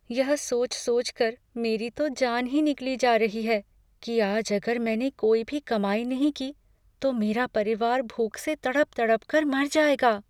यह सोच सोचकर मेरी तो जान ही निकली जा रही है कि आज अगर मैंने कोई भी कमाई नहीं की, तो मेरा परिवार भूख से तड़प तड़पकर मर जाएगा।